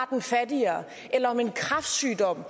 den fattigere eller om en kræftsygdom